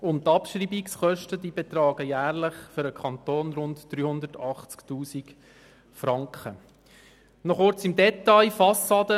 Die Abschreibungskosten betragen für den Kanton jährlich rund 380 000 Franken.